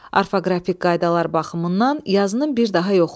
Orfoqrafik qaydalar baxımından yazının bir daha yoxla.